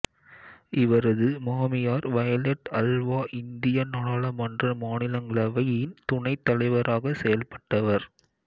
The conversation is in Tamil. இவரது மாமியார் வயலெட் அல்வா இந்திய நாடாளுமன்ற மாநிலங்களவையின் துணைத் தலைவராக செயல்பட்டவர்